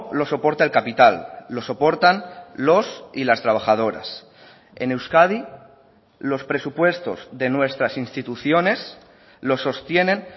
lo soporta el capital lo soportan los y las trabajadoras en euskadi los presupuestos de nuestras instituciones los sostienen